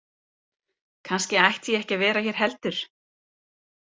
Kannski ætti ég ekki að vera hér heldur.